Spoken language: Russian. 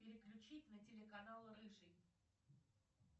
переключить на телеканал рыжий